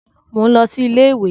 Mò ń lọ sí iléèwé